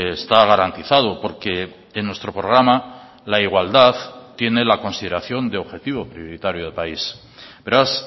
está garantizado porque en nuestro programa la igualdad tiene la consideración de objetivo prioritario de país beraz